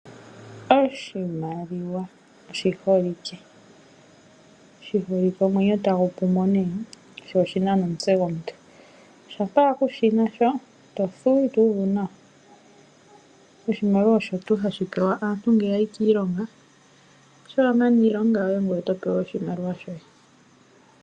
Oshimaliwa oshi holike omwenyo tagu pu mo sho oshi na nomutse gomuntu. Uuna kuu shi na shoka ito thuwa, ito uvu nawa. Oshimaliwa osho tuu hashi pewa aantu ngele ya yi kiilonga. Uuna wa mana iilonga yoye ngoye oto pewa oshimaliwa shoye.